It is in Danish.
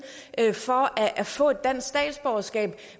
for at få et dansk statsborgerskab